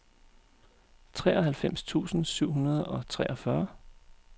treoghalvfems tusind syv hundrede og treogfyrre